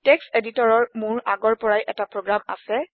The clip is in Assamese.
টেক্সট এডিটৰৰ মোৰ আগৰ পৰাই এটা প্ৰোগ্ৰাম আছে